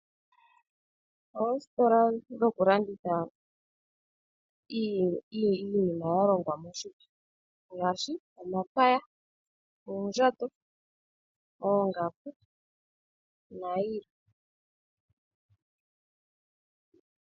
Oositola dhokulanditha iinima yalongwa moshipa ngaashi omapaya, oondjato, oongaku nayilwe